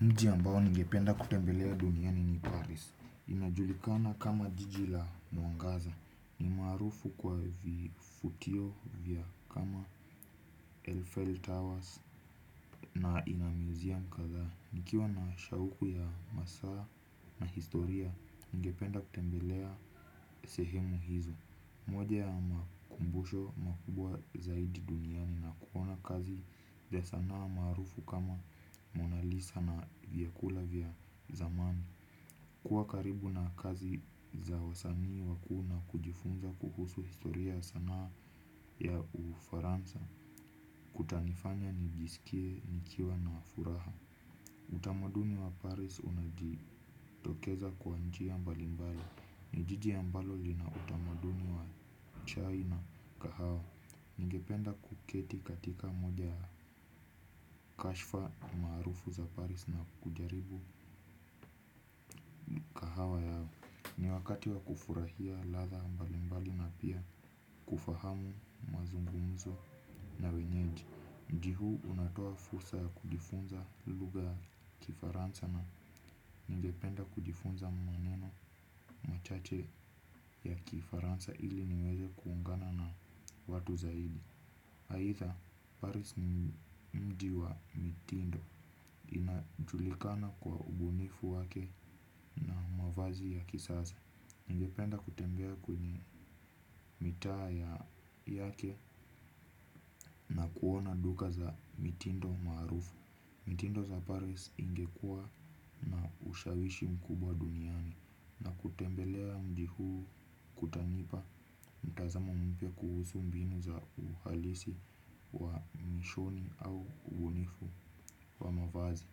Mji ambao nigependa kutembelea duniani ni Paris. Inajulikana kama jiji la muangaza. Ni marufu kwa vifutio vya kama Elfell Towers na inamiziam kadha. Nikiwa na shauku ya masa na historia ngependa kutembelea sehemu hizo. Moja ya makumbusho makubwa zaidi duniani nakuona kazi za sanaa marufu kama monalisa na vyakula vya zamani. Kuwa karibu na kazi za wazani waku na kujifunza kuhusu historia sanaa ya ufaransa. Kutanifanya nijisikie nikiwa na furaha. Utamaduni wa Paris unaji tokeza kwa njia mbalimbali. Nijiji ambalo lina utamaduni wa chai na kahawa. Nigependa kuketi katika moja ya kashfa marufu za Paris na kujaribu mkahawa yao. Ni wakati wa kufurahia ladha mbalimbali na pia kufahamu mazungumzo na wenyeji mji hu unatoa fursa ya kujifunza lugha ya kifaransa na ningependa kujifunza maneno machache ya kifaransa ili niweze kuungana na watu zaidi haida Paris ni mji wa mitindo inajulikana kwa ubunifu wake na wavazi ya kisasa. Ingependa kutembea kwenye mita ya yake na kuona duka za mitindo marufu. Mitindo za Paris ingekua na ushawishi mkubwa duniani na kutembelea mji huu kutanipa mtazamo mpya kuhusu mbinu za uhalisi wa mishoni au ubunifu wa mavazi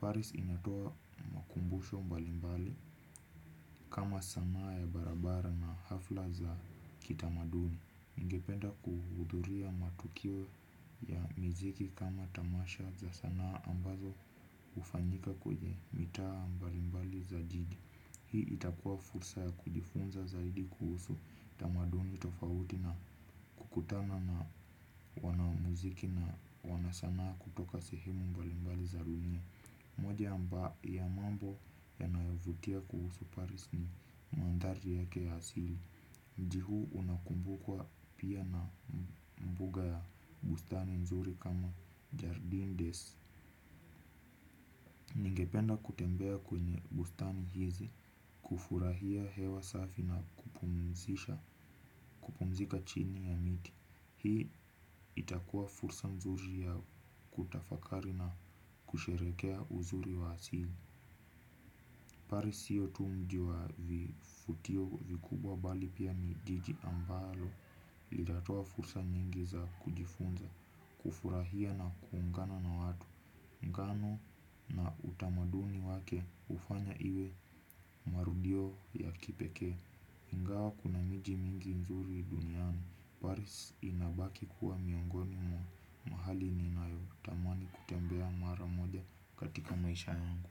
Paris inatoa makumbusho mbalimbali kama sanaa ya barabara na hafla za kitamaduni ningependa kuhudhuria matokeo ya musiki kama tamasha za sana ambazo ufanyika kwenye mtaa mbalimbali ya jiji. Hii itakua fursa ya kujifunza zaidi kuhusu tamaduni tofauti na kukutana na wanamuziki na wanasanaa kutoka sehemu mbalimbali za dunia. Moja amba ya mambo yanayovutia kuhusu Paris ni mandari yake asili. Mji hu unakumbukwa pia na mbuga ya bustani nzuri kama Jardine Des Ningependa kutembea kwenye bustani hizi kufurahia hewa safi na kupumzika chini ya miti. Hii itakua fursa mzuri ya kutafakari na kusherekea uzuri wa asili. Paris siyo tu mji wa vifutio vikubwa bali pia ni jiji ambalo ilatoa fursa nyingi za kujifunza kufurahia na kuungana na watu mgano na utamaduni wake ufanya iwe marudio ya kipeke. Ingawa kuna miji mingi nzuri duniani Paris inabaki kuwa miongoni mwa mahali ninayo tamani kutembea mara moja katika maisha yangu.